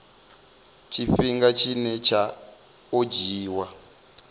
tshifhinga tshine tsha o dzhiiwa